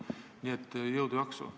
Nii et jõudu-jaksu!